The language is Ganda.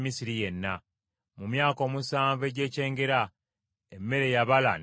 Mu myaka omusanvu egy’ekyengera emmere yabala n’ekamala.